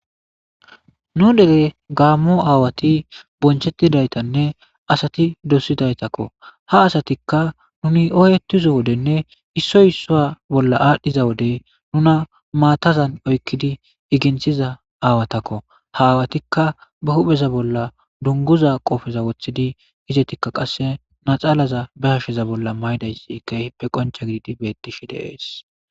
Nu dere gaamo aawati bonchetidaytanne asati dosidaytako, ha asatika nuni oyetizo wodene issoyi issa bolla adhiza wode nuna maatazan oykidi oginthiza aawatako , ha aawatika ba hu'eza bolla dunguza qope wothid izetika qase laxanaza be hashe bolla mayidaysi keehippe qonce gidid beeteshe de'esi.